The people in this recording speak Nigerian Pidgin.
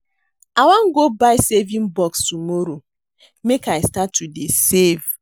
I wan go buy saving box tomorrow make I start to dey save